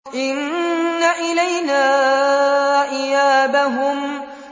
إِنَّ إِلَيْنَا إِيَابَهُمْ